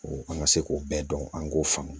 An ka se k'o bɛɛ dɔn an k'o faamu